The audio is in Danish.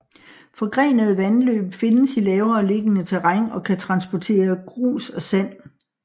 Forgrenede vandløb findes i lavere liggende terræn og kan transporteres grus og sand